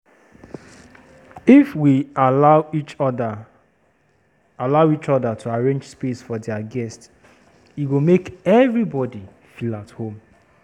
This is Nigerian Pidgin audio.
If we allow each oda allow each oda to arrange space for dier guests, e go make everybody feel at home.